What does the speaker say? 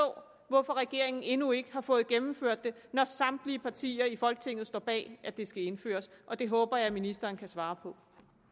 hvorfor regeringen endnu ikke har fået gennemført det når samtlige partier i folketinget står bag at det skal indføres og det håber jeg ministeren kan svare på